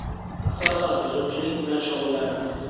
Asosan uzumchilik bilan shug‘ullanamiz.